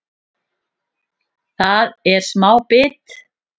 Það er smá bit